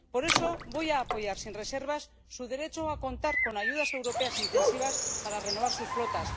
Por eso, voy a apoyar sin reservas su derecho a contar con ayudas europeas intensivas para renovar sus flotas.